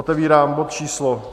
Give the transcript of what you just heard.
Otevírám bod číslo